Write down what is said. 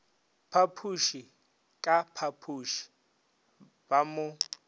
phapoše ka phapoše ba mo